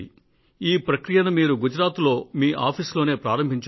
ఈ ప్రక్రియను మీరు గుజరాత్ లో మీ కార్యాలయంలోనే ప్రారంభించారు